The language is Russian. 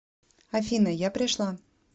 афина я пришла